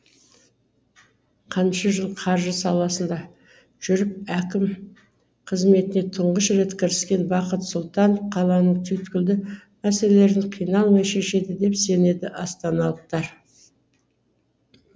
қанша жыл қаржы саласында жүріп әкім қызметіне тұңғыш рет кіріскен бақыт сұлтанов қаланың түйткілді мәселелерін қиналмай шешеді деп сенеді астаналықтар